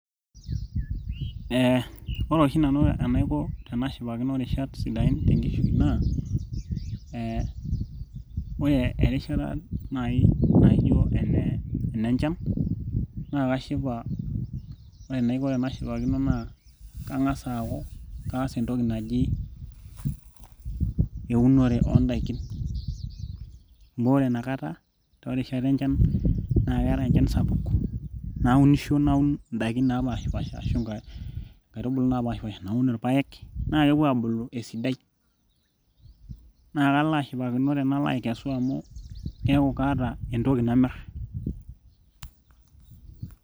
eh, ore oshi nanu enaiko tenashipakino irishat sidain tenkishui naa eh, ore erishata naaji naijo ene enenchan naa kashipa ore enaiko tenashipakino naa kang'as aaku kaas entoki naji euonore ondaikin amu ore inakata toorishat enchan naa keetae enchan sapuk naunisho naun indaikin napashipasha ashu inkaitubulu napashipasha naun irpayek naa kepuo aabulu esidai naa kalo ashipakino tenalo aikesu amu keeku kaata entoki namirr.